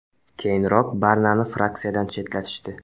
Keyinroq Barnani fraksiyadan chetlatishdi.